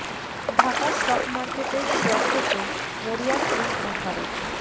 Dhaka stock মার্কেটের share পেতে মরিয়া চীন ও ভারত